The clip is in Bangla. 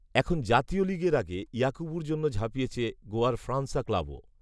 এখন জাতীয় লিগের আগে ইয়াকুবুর জন্য ঝাঁপিয়েছে গোয়ার ফ্রান্সা ক্লাবও